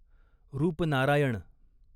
Rupnarayan